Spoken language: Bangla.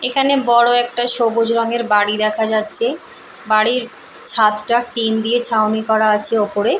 এখানে বড় একটা সবুজ রঙের বাড়ি দেখা যাচ্ছে। বাড়ির ছাদটা টিন দিয়ে ছাউনি করা আছে ওপরে।